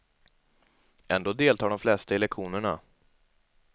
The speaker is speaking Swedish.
Ändå deltar de flesta i lektionerna.